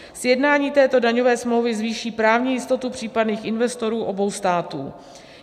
Sjednání této daňové smlouvy zvýší právní jistotu případných investorů obou států.